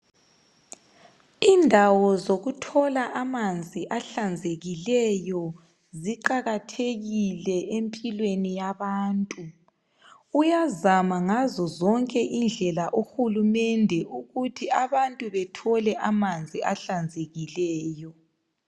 Indawo zokutjola amanzi ahlanzekileyo ziqakathekile empilweni yabantu uyazama ngazozonke indlela uhulumende ukuthi abantu bathole amanzi ahlanzekileyo